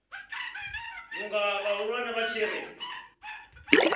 vhunga vhahulwane vha tshi ri